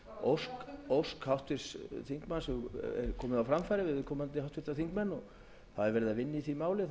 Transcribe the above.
að ósk háttvirts þingmannsverði komið á framfæri við háttvirtir þingmenn það er ferð að vinna í því máli þannig að